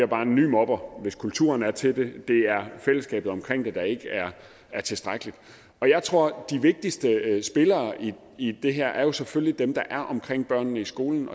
bare en ny mobber hvis kulturen er til det det er fællesskabet omkring det der ikke er tilstrækkeligt og jeg tror at de vigtigste spillere i i det her selvfølgelig er dem der er omkring børnene i skolen